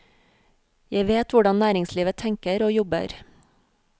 Jeg vet hvordan næringslivet tenker og jobber.